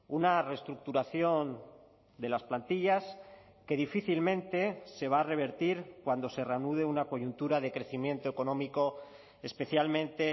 una reestructuración de las plantillas que difícilmente se va a revertir cuando se reanude una coyuntura de crecimiento económico especialmente